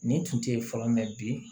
Nin tun tɛ yen fɔlɔ mɛn bi